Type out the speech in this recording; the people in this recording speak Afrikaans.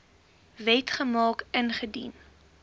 wet gemaak ingedien